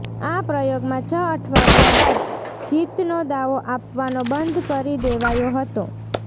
આ પ્રયોગમાં છ અઠવાડિયા બાદ જીતનો દાવ આપવાનો બંધ કરી દેવાયો હતો